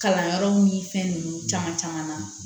Kalanyɔrɔw ni fɛn ninnu caman caman na